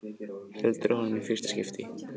Heldur á honum í fyrsta skipti.